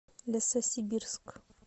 лесосибирск